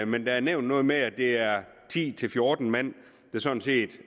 men der er nævnt noget med at det er ti til fjorten mand der sådan set